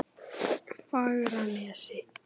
Fagranesi